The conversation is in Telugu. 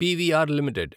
PVR limited